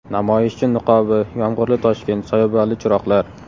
Namoyishchi niqobi, yomg‘irli Toshkent, soyabonli chiroqlar.